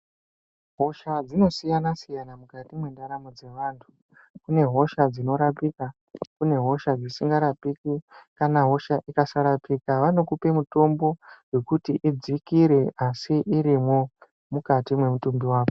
Hosha dzinosiyana-siyana mukati mwendaramo dzevantu. Kune hosha dzinorapika kune hosha dzisingarapiki kana hosha ikasarapika vanokupa mitombo vekuti idzikire. Asi irimwo mukati mwemutumbi vako.